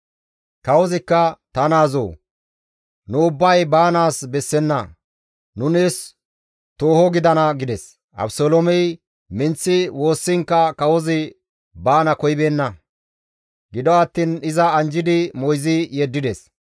Kawozikka, «Ta naazoo! Nu ubbay baanaas bessenna; nu nees tooho gidana» gides. Abeseloomey minththi woossiinkka kawozi baana koyibeenna; gido attiin iza anjjidi moyzi yeddides.